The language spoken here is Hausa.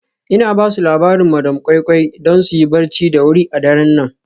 Ina ba su labarin madam koi koi don su yi barci da wuri a daren nan.